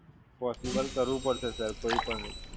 Possible કરવું પડશે Sir કોઈ પણ રીતે